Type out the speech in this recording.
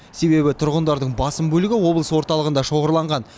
себебі тұрғындардың басым бөлігі облыс орталығында шоғырланған